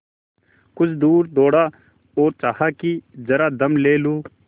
कुछ दूर दौड़ा और चाहा कि जरा दम ले लूँ